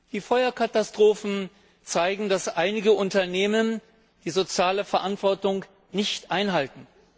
Die Feuerkatastrophen zeigen, dass einige Unternehmen die soziale Verantwortung nicht einhalten.